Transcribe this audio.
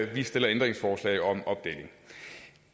vi stiller ændringsforslag om opdeling